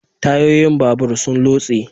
Tayoyin babur sun lotse